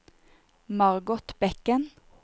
Margot Bekken